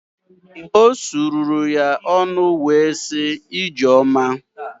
O susuru ya ọnụ wee sị “Ijeoma”.